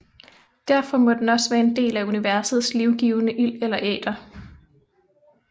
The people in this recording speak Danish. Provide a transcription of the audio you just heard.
Derfor må den også være en del af universets livgivende ild eller æter